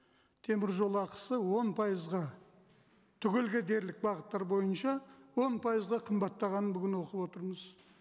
теміржол ақысы он пайызға түгел кетерлік бағыттар бойынша он пайызға қымбаттағанын бүгін оқып отырмыз